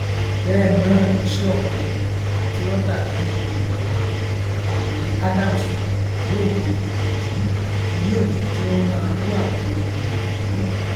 bẹẹ náà loshiomhole atúròtabíi èlùbọ ọkùnrin adams oluomhole yìí ni yóò jẹ kí wọn máa bú àwọn èèyàn kúkúrú